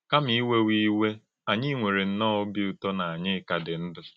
Kàmà ìwèwà ìwè, ányí nwèrè nnọọ òbì ụ̀tó na ányí kà dị̀ ndụ́.